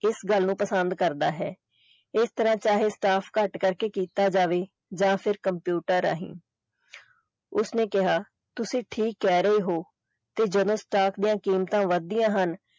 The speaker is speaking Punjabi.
ਇਸ ਗੱਲ ਨੂੰ ਪਸੰਦ ਕਰਦਾ ਹੈ ਇਸਤਰਾਂ ਚਾਹੇ staff ਘੱਟ ਕਰਕੇ ਕੀਤਾ ਜਾਵੇ ਜਾਂ ਫਿਰ computer ਰਾਹੀਂ ਉਸਨੇ ਕਿਹਾ ਤੁਸੀਂ ਠੀਕ ਕਹਿ ਰਹੇ ਹੋ ਤੇ ਜਦੋਂ staff ਦੀਆਂ ਕੀਮਤਾਂ ਵਧਦੀਆਂ ਹਨ।